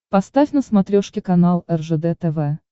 поставь на смотрешке канал ржд тв